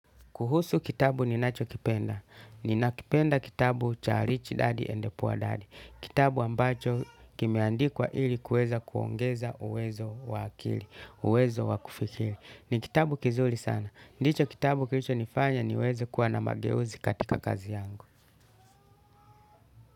Kuhusu kitabu ninachokipenda. Ninakipenda kitabu cha Rich Daddy and Poor Daddy. Kitabu ambacho kimeandikwa ili kuweza kuongeza uwezo wa akili, uwezo wa kufikiri. Ni kitabu kizuri sana. Ndicho kitabu kilichonifanya niweze kuwa na mageuzi katika kazi yangu.